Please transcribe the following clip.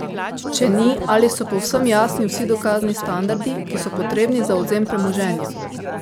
Če ni, ali so povsem jasni vsi dokazni standardi, ki so potrebni za odvzem premoženja?